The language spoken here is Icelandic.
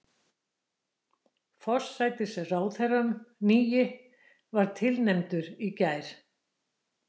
Forsætisráðherrann nýi var tilnefndur í gær